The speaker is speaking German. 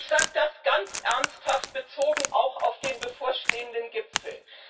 Ich sage das ganz ernsthaft auch bezogen auf den bevorstehenden Gipfel.